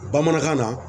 Bamanankan na